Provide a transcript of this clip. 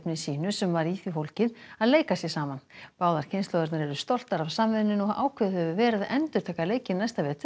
sínu sem var í því fólgið að leika sér saman báðar kynslóðirnar eru stoltar af samvinnunni og ákveðið hefur verið að endurtaka leikinn næsta vetur